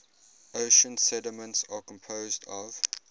ocean sediments are composed of